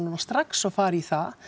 strax og fara í það